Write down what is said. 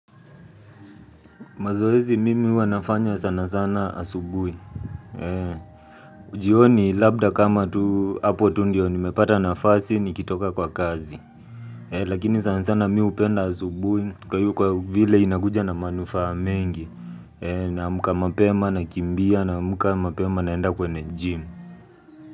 Mazoezi mimi huwa nafanya sana sana asubuhi. Jioni labda kama tu hapo tu ndio nimepata nafasi nikitoka kwa kazi. Lakini sana sana mi hupenda asubuhi kwa vile inakuja na manufaa mengi. Naamuka mapema nakimbia naamuka mapema naenda kwenye gym.